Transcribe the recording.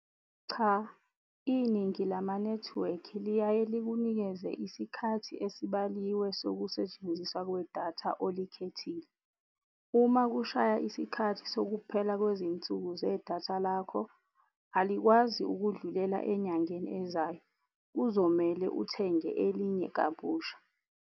Cha iningi lama-network liyaye likunikeze isikhathi esibaluliwe zokusetshenziswa kwedatha olikhethile. Uma kushaya isikhathi sokuphela kwezinsuku zedatha lakho, alikwazi ukundlulela enyangeni ezayo. Kuzomele uthenge elinye kabusha.